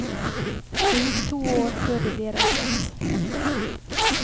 Det gikk to år før de ble reddet.